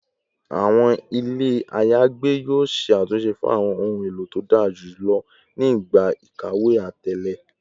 Awọn ile ayagbe yoo ṣe atunṣe fun awọn ohun elo to dara julọ ni igba ikawe atẹle